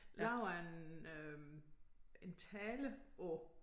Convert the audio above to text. Lavede en øh en tale på